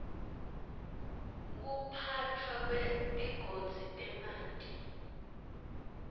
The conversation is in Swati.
ekuphatfwa kwetigodzi temanti